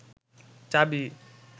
চাবি